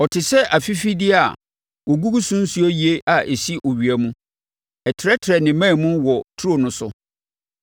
Ɔte sɛ afifideɛ a wɔgugu so nsuo yie a ɛsi owia mu. Ɛtrɛtrɛ ne mman mu wɔ turo no so;